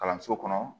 Kalanso kɔnɔ